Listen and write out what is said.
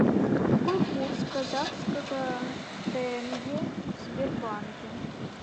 какой курс казахского тенге в сбербанке